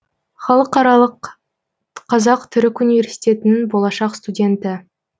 халықаралық қазақ түрік университетінің болашақ студенті